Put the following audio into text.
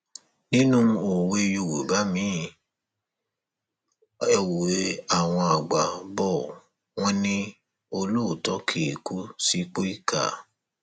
nínú òwe yorùbá miin ewé àwọn àgbà bò wọn ní olóòótọ kì í kú sípò ìkà